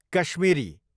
Kashmiri